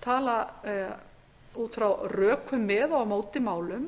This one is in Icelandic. tala út frá rökum með og á móti málum